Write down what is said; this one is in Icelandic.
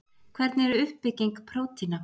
hvernig er uppbygging prótína